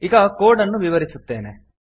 ಈಗ ಕೋಡ್ ಅನ್ನು ವಿವರಿಸುತ್ತೇನೆ